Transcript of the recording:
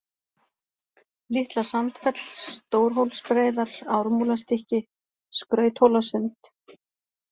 Litla-Sandfell, Stórhólsbreiðar, Ármúlastykki, Skrauthólasund